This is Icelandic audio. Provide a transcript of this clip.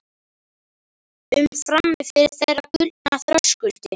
um frammi fyrir þeirra gullna þröskuldi.